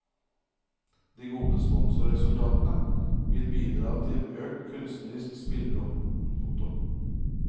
De gode sponsorresultatene vil bidra til økt kunstnerisk spillerom. punktum